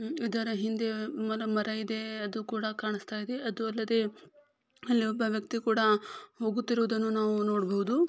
ಇದರ ಹಿಂದೆ ಒಂದು ಮರ ಇದೆ ಅದು ಕೂಡ ಕಾಣಿಸ್ತಾ ಇದೆ ಅದು ಅಲ್ಲದೆ ಅಲ್ಲಿ ಒಬ್ಬ ವ್ಯಕ್ತಿ ಕೂಡ ಹೋಗುತ್ತಿರುವುದನ್ನು ನಾವು ನೋಡಬಹುದು.